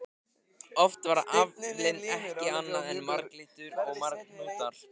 Oft var aflinn ekki annað en marglyttur og marhnútar.